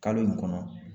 Kalo in kɔnɔ